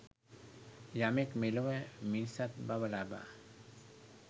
යමෙක් මෙලොව මිනිසත් බව ලබා